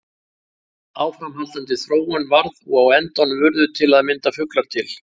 Áframhaldandi þróun varð og á endanum urðu til að mynda fuglar til.